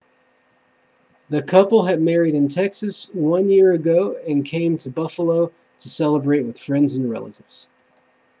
the couple had married in texas one year ago and came to buffalo to celebrate with friends and relatives